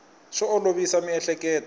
swi olovisa miehleketo